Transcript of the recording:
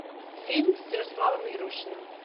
фильм с ярославом ярушиным